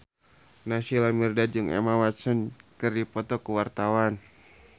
Naysila Mirdad jeung Emma Watson keur dipoto ku wartawan